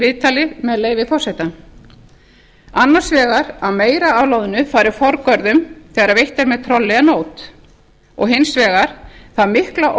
viðtalið með leyfi forseta annars vegar að meira af loðnu fari forgörðum þegar veitt er með trolli en nót og hins vegar það mikla